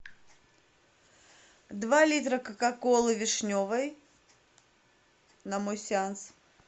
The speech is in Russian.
два литра кока колы вишневой на мой сеанс